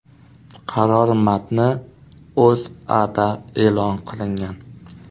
Qaror matni O‘zAda e’lon qilingan .